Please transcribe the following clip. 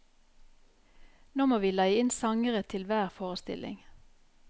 Nå må vi leie inn sangere til hver forestilling.